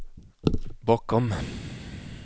bakom